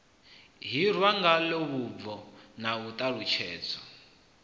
hirwa ngalo vhubvo na ṱhalutshedzo